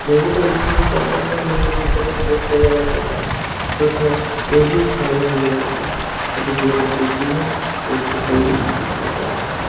मैं भी जब स्कुल में पढ़ता था मैं इसपे फिसलने में बहुत मज़ा लगता था। इस प्रकार मैं भी इसका आनंद लेता था और जो बहोत अच्छी चीज है। इसपे कोई भी फिसला जा सकता।